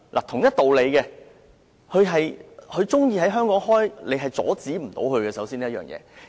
同一道理，他們如喜歡在香港開設飛機租賃公司，我們阻止不了。